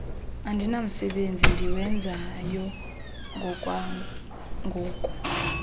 andinamsebenzi ndiwenzayo ngokwangoku